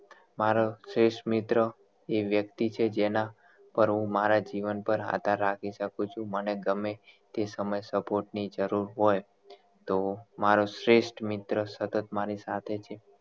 મારો શ્રેષ્ઠ મિત્ર એ વ્યક્તિ છે જેના પર હું મારા જીવન પર આધાર રાખી શકું છું મને ગમે તે સમયે support ની જરૂર હોય તો મારો શ્રેષ્ઠ મિત્ર સતત મારી સાથે છે